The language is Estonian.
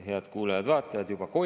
Head kuulajad-vaatajad!